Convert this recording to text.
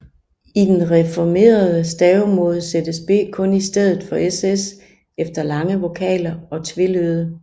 I den reformerede stavemåde sættes ß kun i stedet for ss efter lange vokaler og tvelyde